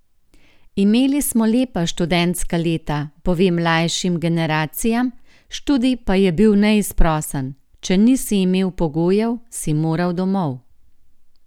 Imeli smo lepa študentska leta, pove mlajšim generacijam, študij pa je bil neizprosen: "če nisi imel pogojev, si moral 'domov'.